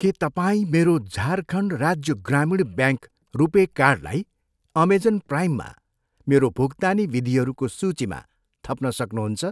के तपाईँ मेरो झारखण्ड राज्य ग्रामीण ब्याङ्क रुपे कार्डलाई अमेजन प्राइममा मेरो भुक्तानी विधिहरूको सूचीमा थप्न सक्नुहुन्छ?